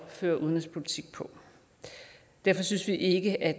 føre udenrigspolitik på derfor synes vi ikke at